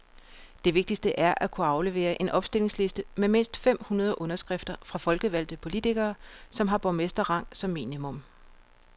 Det vigtigste er at kunne aflevere en opstillingsliste med mindst fem hundrede underskrifter fra folkevalgte politikere, som har borgmesterrang som minimum.